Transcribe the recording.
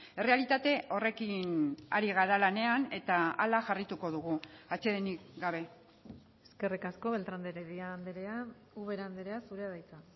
errealitate horrekin ari gara lanean eta hala jarraituko dugu atsedenik gabe eskerrik asko beltrán de heredia andrea ubera andrea zurea da hitza